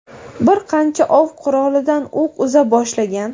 bir qancha ov qurolidan o‘q uza boshlagan.